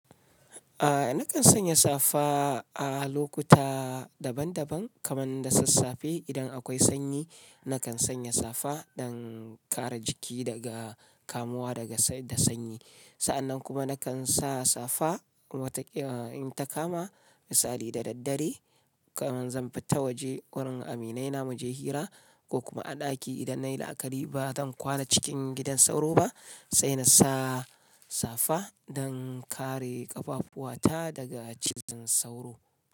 A'a nakan sanya safa a lokuta daban-daban kaman da sassafe idan akwai sanyi nakan sanya safa don kare jiki daga kamuwa daga da sanyi. Sa'annan kuma nakan sa safa wata kila in ta kama misali da daddare kaman zan fita waje wurin aminaina mu je hira ko kuma a ɗaki idan nayi laƙari ba zan kwana cikin gidan sauro ba sai na sa safa don kare ƙafafuata daga cizon sauro.